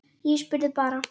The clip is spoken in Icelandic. Ég spurði bara.